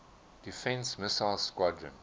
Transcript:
defense missile squadron